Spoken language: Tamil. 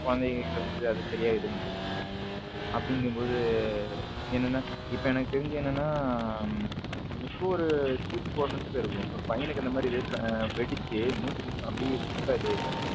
குழந்தைகள் கிட்ட கொடுத்து அதை சரியா இது பண்றது இல்ல அப்படி எங்கும் போது என்னன்னா இப்போ எனக்கு தெரிஞ்சு என்னன்னா இப்போ ஒர three to four months இருக்கும் ஒரு பையனுக்கு இந்த மாதிரி வெடிச்சு மூஞ்சி அப்படியே full இது ஆயிடுச்சு